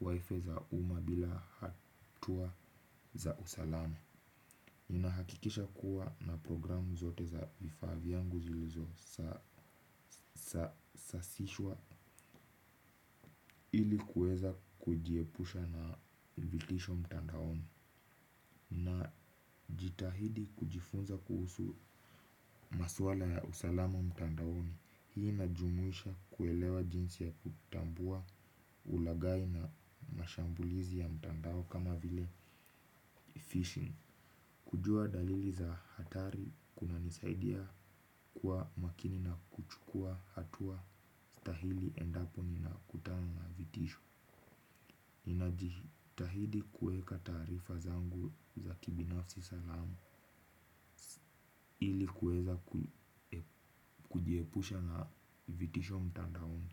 wifi za uma bila hatua za usalama. Ninahakikisha kuwa na programu zote za vifaa viyangu zilizo sasishwa. Ili kueza kujiepusha na vitisho mtandaoni. Na jitahidi kujifunza kuhusu maswala ya usalama mtandaoni. Hii ina jumuisha kuelewa jinsi ya kutambua ulagai na mashambulizi ya mtandao kama vile fishing. Kujua dalili za hatari kuna nisaidia kuwa makini na kuchukua hatua stahili endapo nina kutana na vitisho. Najitahidi kueka taarifa zangu za kibinafsi salama ilikuweza kujiepusha na vitisho mtandaoni.